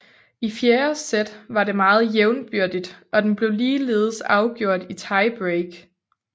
I fjerde sæt var det meget jævnbyrdigt og den blev ligeledes afgjort i tiebreak